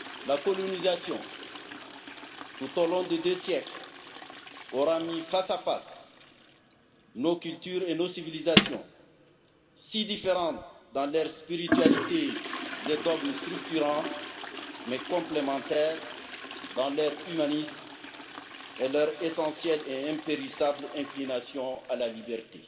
La colonisation, tout au long de deux siècles, aura mis face à face nos cultures et nos civilisations si différentes dans leurs spiritualités et dogmes structurants, mais complémentaires dans leur humanisme et leur essentielle et impérissable inclination à la liberté.